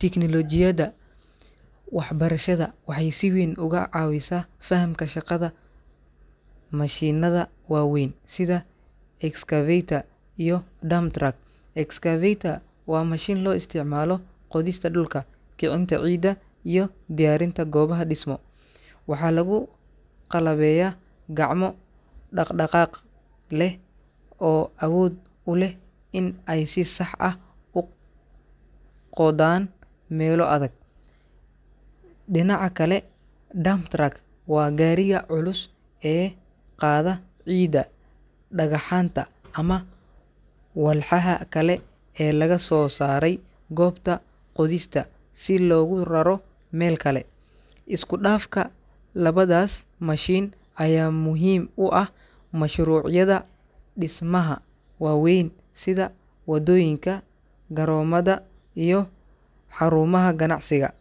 Tignoolajiyada waxbarashada waxay si weyn uga caawisaa fahamka shaqada mashiinnada waaweyn sida excavator iyo dump truck. Excavator waa mashiin loo isticmaalo qodista dhulka, kicinta ciidda, iyo diyaarinta goobaha dhismo. Waxaa lagu qalabeeyaa gacmo dhaqdhaqaaq leh oo awood u leh in ay si sax ah u qodaan meelo adag. Dhinaca kale, dump truck waa gaariga culus ee qaada ciidda, dhagaxaanta ama walxaha kale ee laga soo saaray goobta qodista si loogu raro meel kale. Isku dhafka labadaas mashiin ayaa muhiim u ah mashruucyada dhismaha waaweyn sida waddooyinka, garoomada, iyo xarumaha ganacsiga.